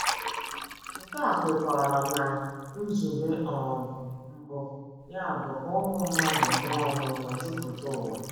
Nke a kwekọrọ ná nzube um mbụ ya bụ́ ka ụmụ mmadụ mụọ ọmụmụ jupụta ụwa.